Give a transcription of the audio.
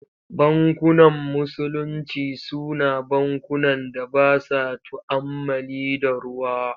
Bankunan Musulinci Su na bankunan da ba sa tu'ammali da ruwa.